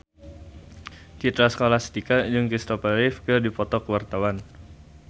Citra Scholastika jeung Kristopher Reeve keur dipoto ku wartawan